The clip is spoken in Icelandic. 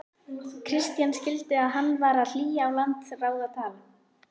Christian skildi að hann var að hlýða á landráðatal.